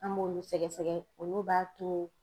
An b'olu sɛgɛsɛgɛ olu b'a to